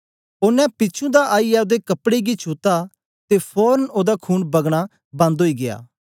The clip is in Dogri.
ओनें पिछुं दा आईयै ओदे कपड़े गी छुत्ता ते फोरन ओदा खून बगना बन्द ओई गीया